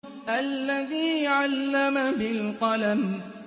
الَّذِي عَلَّمَ بِالْقَلَمِ